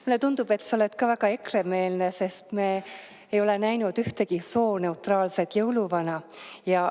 Mulle tundub, et sa oled ka väga EKRE-meelne, sest me ei ole näinud ühtegi sooneutraalset jõuluvana.